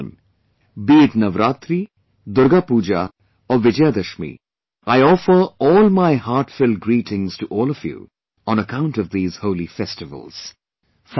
My dear countrymen, be it Navratri, Durgapuja or Vijayadashmi, I offer all my heartfelt greetings to all of you on account of these holy festivals